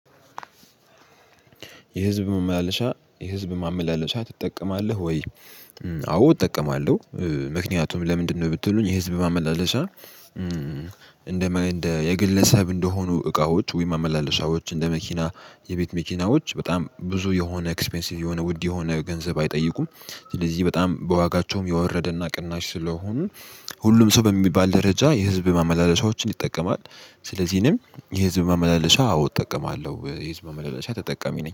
የህዝብ መመላለሻ የህዝብ ማመላለሻ ትጠቀማለህ ወይ? አዎ እጠቀማለሁ ምክንያቱም ለምንድነው ብትሉኝ የህዝብ ማመላለሻ። እንደ የግለሰብ እንደሆኑ እቃዎች ወይም ማመላለሻዎች እንደ መኪና የቤት መኪናዎች በጣም ብዙ የሆነ ኤክስፔንሲቭ የሆነ ውድ የሆነ ገንዘብ አይጠይቁም። ስለዚህ በጣም በዋጋቸውም የወረደና ቅናሽ ስለሆኑ። ሁሉም ሰው በሚባል ደረጃ የህዝብ ማመላለሻዎችን ይጠቀማል። ስለዚህ እኔም የህዝብ ማመላለሻ አዎ እጠቀማለሁ የህዝብ ማመላለሻ ተጠቀሚ ነኝ